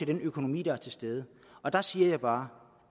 den økonomi der er til stede og der siger jeg bare